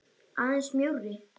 Aðeins mjórri.